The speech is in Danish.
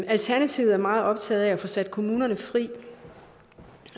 alternativet er meget optaget af at få sat kommunerne fri